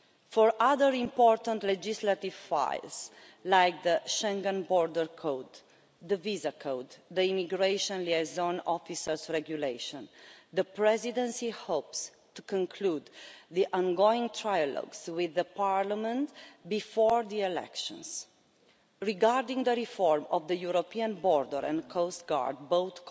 For other important legislative files, like the Schengen Borders Code, the Visa Code and the Immigration Liaison Officers Regulation, the Presidency hopes to conclude the ongoing trilogues with Parliament before the elections. Regarding the reform of the European Border and Coast Guard, both